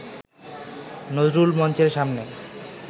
নজরুল মঞ্চের সামনে